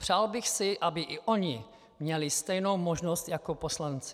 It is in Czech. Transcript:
Přál bych si, aby i oni měli stejnou možnost jako poslanci.